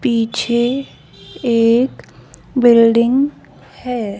पीछे एक बिल्डिंग है।